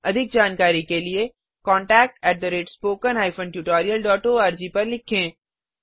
अधिक जानकारी के लिए contactspoken tutorialorg पर लिखें